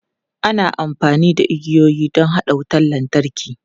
Ana amfani da igiyoyi don haɗa wutar lantarki.